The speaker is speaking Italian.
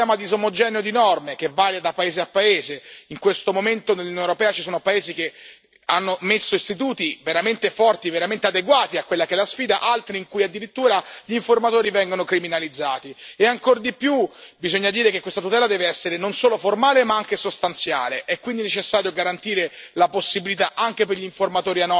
Ma, al di là delle parole, la realtà dei fatti ci racconta un sistema disomogeneo di norme, che varia da paese a paese in questo momento nell'Unione europea ci sono paesi che hanno messo istituti veramente forti, veramente adeguati a quella che è la sfida, altri in cui addirittura gli informatori vengono criminalizzati, e ancor di più bisogna dire che questa tutela deve essere non solo formale ma anche sostanziale.